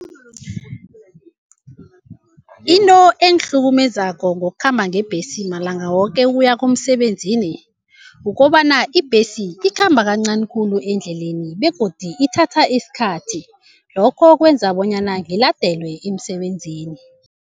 Into engihlukumezako ngokukhamba ngebhesi malanga woke ukuya emsebenzini kukobana ibhesi ikhamba kancani khulu endleleni begodu ithatha isikhathi, lokho kwenza bonyana ngiladelwe emsebenzini.